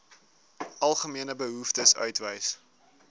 algemene behoeftes uitwys